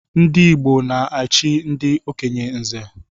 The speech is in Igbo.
Ndị Igbo na-echi ndị okenye nze